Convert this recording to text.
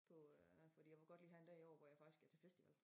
På øh fordi jeg vil godt lige have en dag i år hvor jeg faktisk er til festival